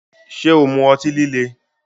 Ṣé o mu ọtí líle?